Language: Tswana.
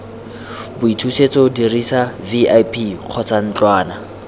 boithusetso dirisa vip kgotsa ntlwana